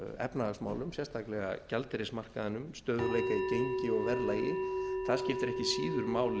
efnahagsmálum sérstaklega gjaldeyrismarkaðinum stöðugleika í gengi og verðlagi það skiptir ekki síður máli heldur en